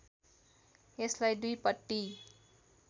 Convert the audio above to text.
यसलाई दुईपट्टी